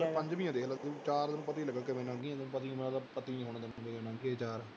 ਪੰਜਵੀਂ ਆਂ ਦੇਖ ਲੈ ਤੂੰ, ਚਾਰ ਤੈਨੂੰ ਪਤਾ ਹੀ ਲੱਗਣਾ ਕਿਵੇਂ ਲੰਘ ਗਈਆਂ, ਮੈਨੂੰ ਪਤਾ ਹੀ ਨੀ ਲੱਗਦਾ ਚਾਰ